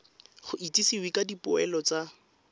go itsisiwe ka dipoelo tsa